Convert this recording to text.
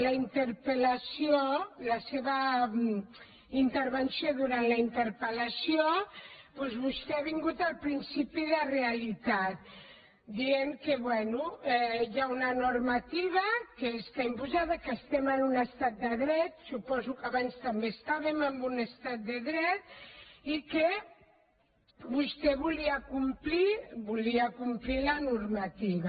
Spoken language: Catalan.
la interpelvenció durant la interpelal principi de realitat dient que bé hi ha una normativa que està imposada que estem en un estat de dret suposo que abans també estàvem en un estat de dret i que vostè volia complir volia complir la normativa